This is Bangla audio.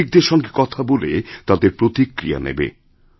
নাগরিকদের সঙ্গে কথা বলে তাঁদের প্রতিক্রিয়া নেবে